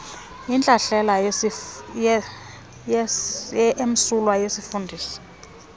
intlahlela emsulwa yesifundisi